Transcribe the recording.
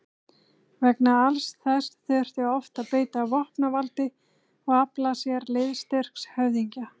Vegna alls þessa þurfti oft að beita vopnavaldi og afla sér liðstyrks höfðingja.